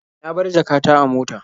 Na bar jaka ta a mota.